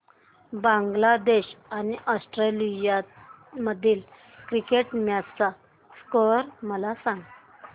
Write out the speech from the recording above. बांगलादेश आणि ऑस्ट्रेलिया मधील cricket match चा स्कोअर मला सांगा